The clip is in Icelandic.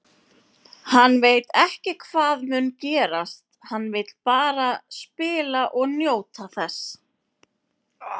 Hann veit ekki hvað mun gerast, hann vill bara spila og njóta þess.